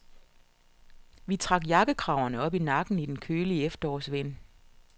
Vi trak jakkekraverne op i nakken i den kølige efterårsvind.